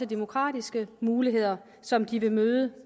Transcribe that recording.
demokratiske muligheder som de vil møde